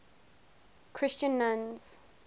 christian nuns